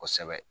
Kosɛbɛ